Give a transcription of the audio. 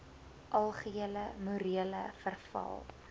algehele morele verval